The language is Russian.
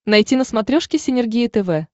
найти на смотрешке синергия тв